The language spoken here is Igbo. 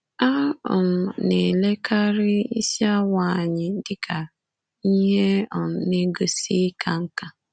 A um na-elekarị isi awọ anya dị ka ihe um na-egosi ịka nká.